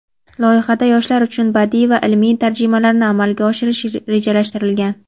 Loyihada yoshlar uchun badiiy va ilmiy tarjimalarni amalga oshirish rejalashtirilgan.